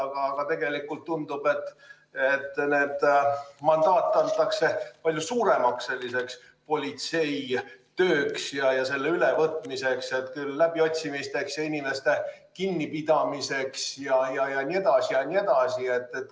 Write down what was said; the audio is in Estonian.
Aga tegelikult tundub, et nende mandaat antakse palju suuremaks politseitööks ja selle ülevõtmiseks – küll läbiotsimisteks ja inimeste kinnipidamiseks jne, jne.